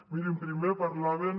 mirin primer parlaven